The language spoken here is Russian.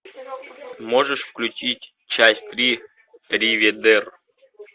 можешь включить часть три риведер